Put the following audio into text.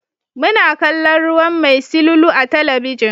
Muna kallon ruwan mai silulu a talabijin.